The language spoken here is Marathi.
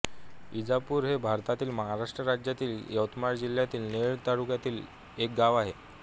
इंजापूर हे भारतातील महाराष्ट्र राज्यातील यवतमाळ जिल्ह्यातील नेर तालुक्यातील एक गाव आहे